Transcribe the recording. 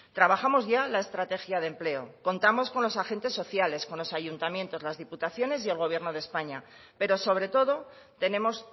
trabajamos ya la estrategia de empleo contamos con los agentes sociales con los ayuntamientos las diputaciones y el gobierno de españa pero sobre todo tenemos